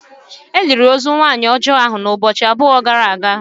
E liri ozu nwanyị ọjọọ ahụ ụbọchị abụọ gara aga